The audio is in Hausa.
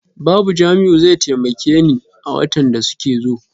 Babu Jamiu zai taimaka ne a watan da suke zo.